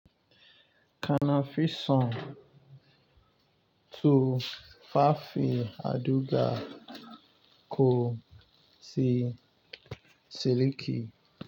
Kana fi son tufafin auduga ko si siliki.